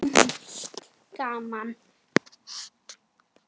Það er lúmskt gaman.